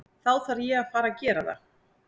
Þá þarf ég að fara gera það.